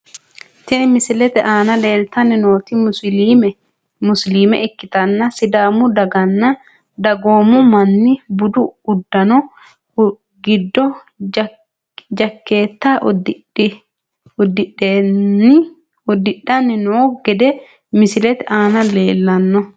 Tini misilete aana leeltani nooti musiliime ikitana sidaamu daganna dagoomu manni budu udano giddo jakeeta udidhani noo gede misilete aana lelano.